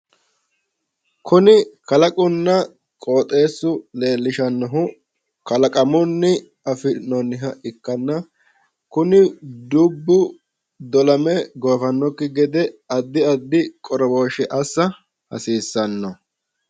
kunni kalaaquna qooxeesu leellishanohu kaalaqamuni afinoniha ikkana kuni dubbu dolame goofanoki gede addi addi qooroboshe assa hassisano